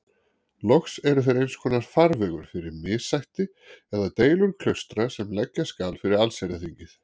Loks eru þeir einskonar farvegur fyrir missætti eða deilur klaustra sem leggja skal fyrir allsherjarþingið.